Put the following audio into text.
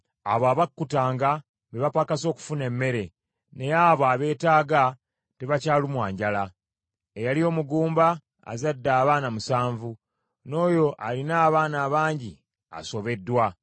Abo abakkutanga, be bapakasa okufuna emmere naye abo abeetaaga, tebakyalumwa njala. Eyali omugumba azadde abaana musanvu, n’oyo alina abaana abangi, asobeddwa.